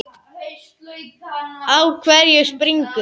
Á hverju springur?